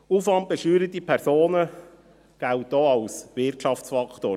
Aufwandbesteuerte Personen gelten auch als Wirtschaftsfaktor.